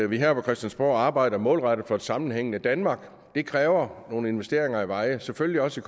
vi her på christiansborg arbejder målrettet for et sammenhængende danmark det kræver nogle investeringer i veje og selvfølgelig også